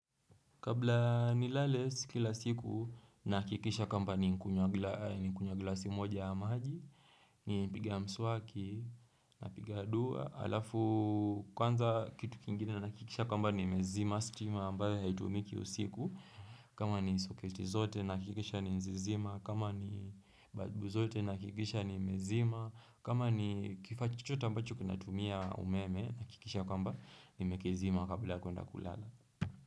Kabla nilale sikila siku nahakikisha kwamba ni nkunya gla nikunywa glasi moja ya maji, ni piga mswaki, na piga dua. Alafu kwanza kitu kingine na kikisha kwamba ni mezima, stima ambayo haitumiki usiku. Kama ni soketi zote nahakikisha nimezizima, kama ni balbu zote nahakikisha ni mezima, kama ni kifaa chochote ambacho kinatumia umeme nahakikisha kwamba ni mekizima kabla ya kwenda kulala.